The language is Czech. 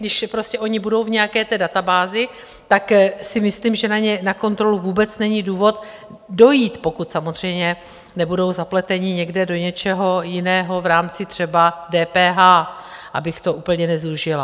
Když prostě oni budou v nějaké té databázi, tak si myslím, že na kontrolu vůbec není důvod dojít, pokud samozřejmě nebudou zapleteni někde do něčeho jiného v rámci třeba DPH, abych to úplně nezúžila.